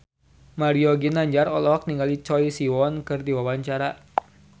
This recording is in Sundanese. Mario Ginanjar olohok ningali Choi Siwon keur diwawancara